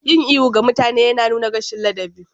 Yin ihu ga mutane yana nuna rashin ladabi.